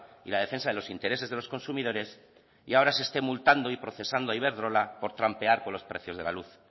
y la defensa de los intereses de los consumidores y ahora se esté multando y procesando a iberdrola por trampear con los precios de la luz